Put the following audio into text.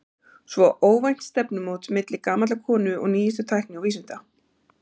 Svo óvænt stefnumót milli gamallar konu og nýjustu tækni og vísinda.